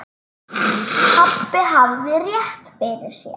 Pabbi hafði rétt fyrir sér.